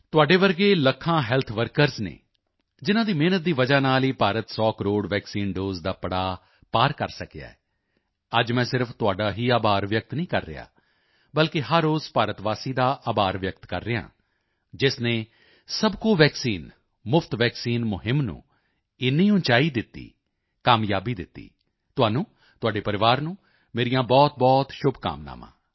ਤੁਹਾਡੇ ਵਰਗੇ ਲੱਖਾਂ ਹੈਲਥ ਵਰਕਰਜ਼ ਨੇ ਜਿਨ੍ਹਾਂ ਦੀ ਮਿਹਨਤ ਦੀ ਵਜ੍ਹਾ ਨਾਲ ਹੀ ਭਾਰਤ 100 ਕਰੋੜ ਵੈਕਸੀਨ ਦੋਸੇ ਦਾ ਪੜਾਅ ਪਾਰ ਕਰ ਸਕਿਆ ਹੈ ਅੱਜ ਮੈਂ ਸਿਰਫ਼ ਤੁਹਾਡਾ ਹੀ ਆਭਾਰ ਵਿਅਕਤ ਨਹੀਂ ਕਰ ਰਿਹਾ ਹਾਂ ਬਲਕਿ ਹਰ ਉਸ ਭਾਰਤਵਾਸੀ ਦਾ ਆਭਾਰ ਵਿਅਕਤ ਕਰ ਰਿਹਾ ਹਾਂ ਜਿਸ ਨੇ ਸਬਕੋ ਵੈਕਸੀਨ ਮੁਫ਼ਤ ਵੈਕਸੀਨ ਮੁਹਿੰਮ ਨੂੰ ਇੰਨੀ ਉਚਾਈ ਦਿੱਤੀ ਕਾਮਯਾਬੀ ਦਿੱਤੀ ਤੁਹਾਨੂੰ ਤੁਹਾਡੇ ਪਰਿਵਾਰ ਨੂੰ ਮੇਰੀਆਂ ਬਹੁਤਬਹੁਤ ਸ਼ੁਭਕਾਮਨਾਵਾਂ